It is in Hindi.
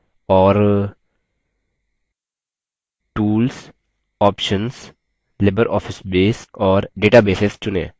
tools options libreoffice base और databases चुनें